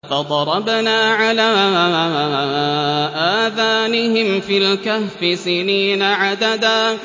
فَضَرَبْنَا عَلَىٰ آذَانِهِمْ فِي الْكَهْفِ سِنِينَ عَدَدًا